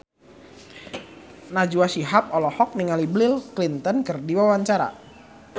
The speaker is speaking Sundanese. Najwa Shihab olohok ningali Bill Clinton keur diwawancara